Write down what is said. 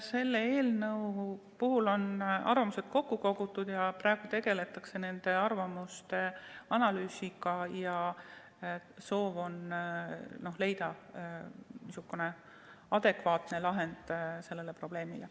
Selle eelnõu puhul on arvamused kokku kogutud, praegu tegeldakse nende arvamuste analüüsiga ja soov on leida adekvaatne lahendus sellele probleemile.